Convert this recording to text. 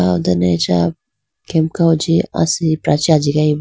aw ho done acha kemka huji asipra chee ajiyayi bo.